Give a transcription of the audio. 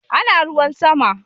Ana ruwan sama